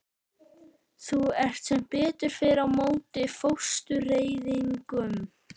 Þú ert sem betur fer á móti fóstureyðingum.